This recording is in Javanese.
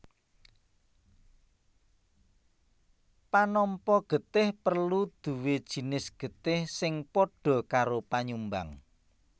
Panampa getih perlu duwé jinis getih sing padha karo panyumbang